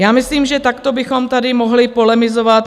Já myslím, že takto bychom tady mohli polemizovat.